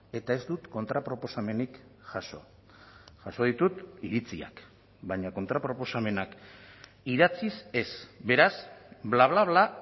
eta ez dut kontraproposamenik jaso jaso ditut iritziak baina kontraproposamenak idatziz ez beraz bla bla bla